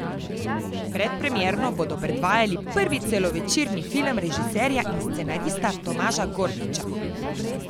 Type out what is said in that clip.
Predpremierno bodo predvajali prvi celovečerni film režiserja in scenarista Tomaža Gorkiča.